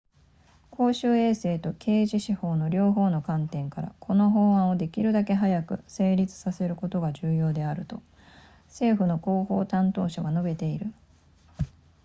「公衆衛生と刑事司法の両方の観点から、この法案をできるだけ早く成立させることが重要であると」、政府の広報担当者は述べている